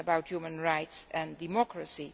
of human rights and democracy.